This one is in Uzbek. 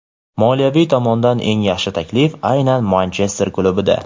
Moliyaviy tomondan eng yaxshi taklif aynan Manchester klubida.